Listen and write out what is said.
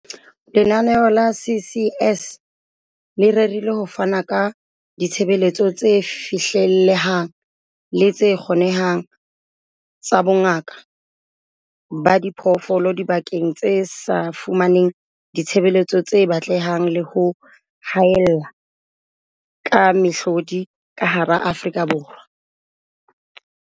"Lenaneo la CCS le rerile ho fana ka ditshebeletso tse fihlellehang le tse kgonehang tsa bongaka ba diphoofolo dibakeng tse sa fumaneng ditshebeletso tse batlehang le ho haella ka mehlodi ka hara Afrika Borwa."